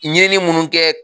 Ɲɛ ni munnu kɛ.